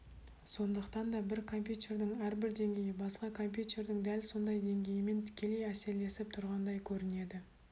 сондықтан да бір компьютердің әрбір деңгейі басқа компьютердің дәл сондай деңгейімен тікелей әсерлесіп тұрғандай көрінеді